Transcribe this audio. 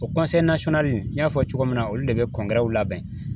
O n y'a fɔ cogo min na olu de bɛ labɛn